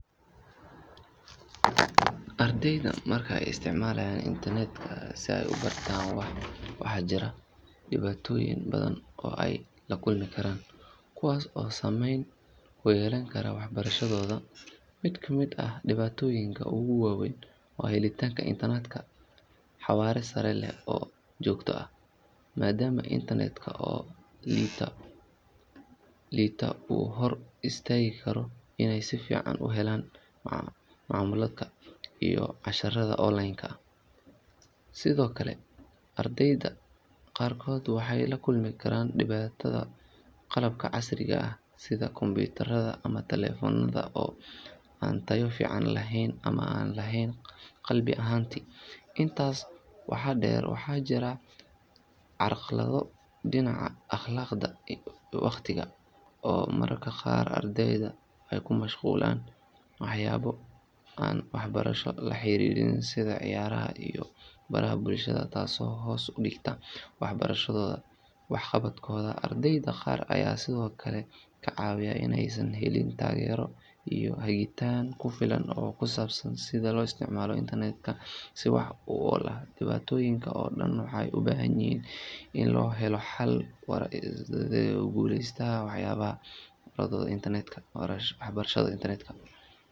Ardayda marka ay isticmaalaan internetka si ay u bartaan waxaa jira dhibaatooyin badan oo ay la kulmi karaan kuwaas oo saameyn ku yeelan kara waxbarashadooda. Mid ka mid ah dhibaatooyinka ugu waaweyn waa helitaanka internet xawaare sare leh oo joogto ah, maadaama internetka oo liita uu ka hor istaagi karo inay si fiican u helaan macluumaadka iyo casharrada online-ka ah. Sidoo kale, ardayda qaarkood waxay la kulmaan dhibaatada qalabka casriga ah sida kombiyuutarada ama taleefannada oo aan tayo fiican lahayn ama aan lahayn gabi ahaanba. Intaas waxaa dheer, waxaa jira carqalado dhinaca akhlaaqda iyo waqtiga oo mararka qaar ardayda ay ku mashquulaan waxyaabo aan waxbarasho la xiriirin sida ciyaaraha iyo baraha bulshada, taasoo hoos u dhigta waxqabadkooda. Ardayda qaar ayaa sidoo kale ka cawda inaysan helin taageero iyo hagitaan ku filan oo ku saabsan sida loo isticmaalo internetka si wax ku ool ah. Dhibaatoyinkan oo dhan waxay u baahan yihiin in la helo xalal waara si ardaydu ugu guulaystaan waxbarashadooda internetka.